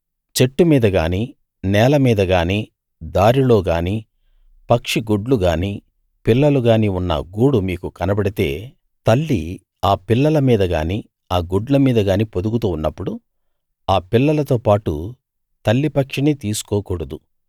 చెట్టు మీదగానీ నేల మీదగానీ దారిలోగానీ పక్షిగుడ్లు గానీ పిల్లలు గానీ ఉన్న గూడు మీకు కనబడితే తల్లి ఆ పిల్లల మీద గానీ ఆ గుడ్ల మీద గానీ పొదుగుతూ ఉన్నప్పుడు ఆ పిల్లలతో పాటు తల్లిపక్షిని తీసుకోకూడదు